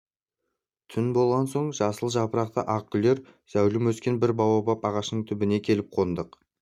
түн болған соң жасыл жапырақты ақ гүлді зәулім өскен бір баобаб ағашының түбіне келіп қондық